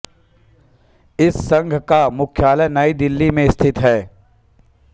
इस संघ का मुख्यालय नई दिल्ली में स्थित है